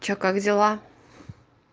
что как дела